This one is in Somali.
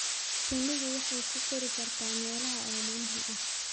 Shinnidu waxay ku kori kartaa meelaha oomanaha ah.